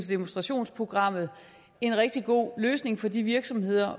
demonstrationsprogram en rigtig god løsning for de virksomheder